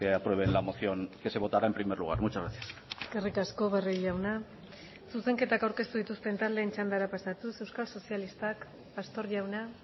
aprueben la moción que se votará en primer lugar muchas gracias eskerrik asko barrio jauna zuzenketak aurkeztu dituzten taldeen txandara pasatuz euskal sozialistak pastor jauna